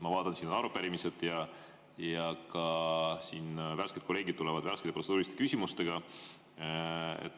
Ma vaatan, siin on arupärimised ja värsked kolleegid tulevad ka värskete protseduuriliste küsimustega.